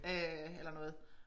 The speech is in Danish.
Øh eller noget